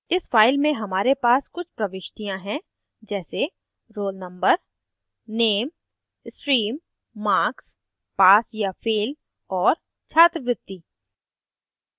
इस file में हमारे pass कुछ प्रविष्टियाँ हैं जैसे roll number nem stream marks pass या fail और छात्रवृत्ति